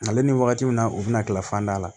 Nka ale ni wagati min na u bɛna kila fanda la